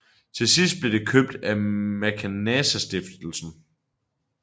Til sidst blev det købt af Maecenasstiftelsen